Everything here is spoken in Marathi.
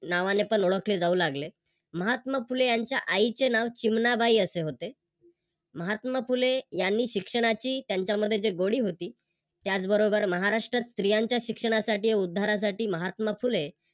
नावाने पण ओळखले जाऊ लागले. महात्मा फुले यांच्या आईचे नाव चिमणाबाई असे होते. महात्मा फुले यांनी शिक्षणाची त्यांच्यामध्ये जे गोडी होती त्याचबरोबर महाराष्ट्रात स्त्रियांच्या शिक्षणासाठी उद्धारासाठी महात्मा फुले